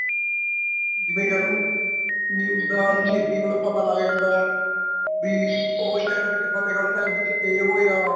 ਜਿਵੇਂ ਕਹਿਲੋ news ਦਾ ਮਤਲਬ ਪਤਾ ਲੱਗ ਜਾਂਦਾ ਬੀ ਉਹ ਸ਼ਹਿਰ ਵਿੱਚ ਫ਼ਤਹਿਗੜ ਸਾਹਿਬ ਵਿੱਚ ਇਹ ਹੋਇਆ